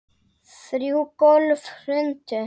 Þrjú gólf hrundu.